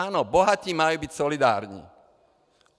Ano, bohatí mají být solidární.